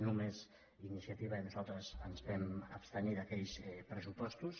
només iniciativa i nosaltres ens vam abstenir d’aquells pressupostos